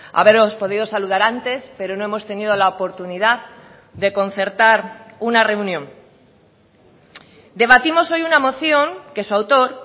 haberos podido saludar antes pero no hemos tenido la oportunidad de concertar una reunión debatimos hoy una moción que su autor